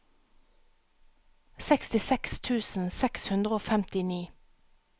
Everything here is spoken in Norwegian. sekstiseks tusen seks hundre og femtini